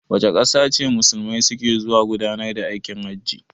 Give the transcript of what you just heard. Wace ƙasa ce Musulmai su ke zuwa gudanar da aikin hajji?